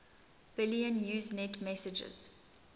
billion usenet messages